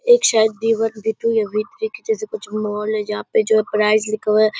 एक शायद B one B two या बी थ्री के जैसे कुछ मॉल है जहाँ पे जो है प्राइस लिखा हुआ है।